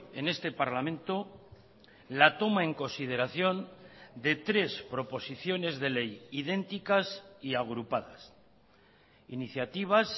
en este parlamento la toma en consideración de tres proposiciones de ley idénticas y agrupadas iniciativas